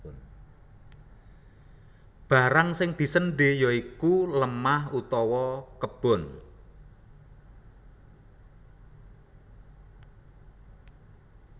Barang sing diséndhé ya iku lemah utawa kebon